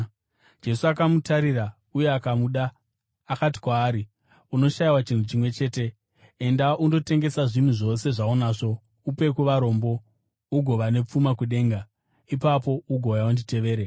Jesu akamutarira uye akamuda, akati kwaari, “Unoshayiwa chinhu chimwe chete. Enda undotengesa zvinhu zvose zvaunazvo upe kuvarombo, ugova nepfuma kudenga. Ipapo ugouya, unditevere.”